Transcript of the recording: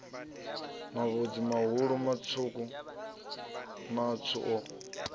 mavhudzi mahulu matswu matswu o